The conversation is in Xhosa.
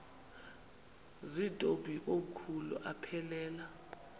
zirntombi komkhulu aphelela